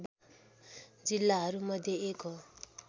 जिल्लाहरू मध्ये एक हो